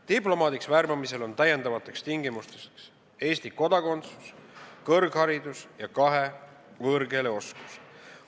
Diplomaadiks värbamisel on lisatingimusteks Eesti kodakondsus, kõrgharidus ja kahe võõrkeele oskus.